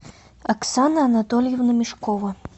оксана анатольевна мешкова